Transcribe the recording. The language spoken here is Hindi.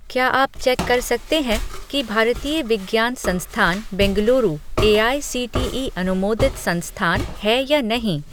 क्या आप चेक कर सकते हैं कि भारतीय विज्ञान संस्थान बेंगलुरु एआईसीटीई अनुमोदित संस्थान है या नहीं?